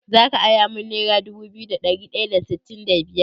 Zaka ara min nera dubu biyu da ɗari ɗaya da sittin da biyar?